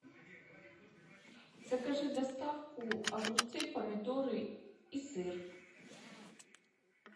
закажи доставку огурцы помидоры и сыр